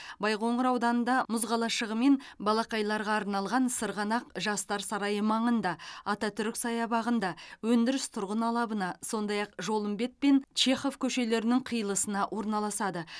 байқоңыр ауданында мұз қалашығы мен балақайларға арналған сырғанақ жастар сарайы маңында ататүрік саябағында өндіріс тұрғын алабына сондай ақ жолымбет пен чехоев көшелерінің қиылысына орналасады